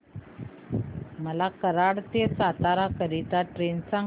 मला कराड ते सातारा करीता ट्रेन सांगा